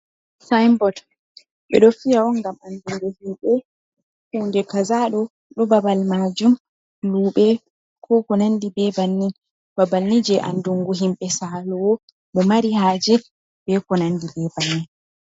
Sinbot ɓe ɗo fiya on gam andungu himɓɓe hunde kazado ɗo babal majum luɓe ko konandi be bannin, babal ni je andungu himɓe salowo ɓe mari haje be konandi be bannin.